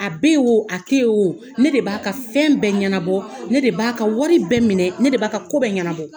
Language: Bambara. A bɛ yen o a tɛ yen o. Ne de b'a ka fɛn bɛɛ ɲɛnabɔ, ne de b'a ka wari bɛɛ minɛ ne b'a ko bɛ ɲɛnabɔ.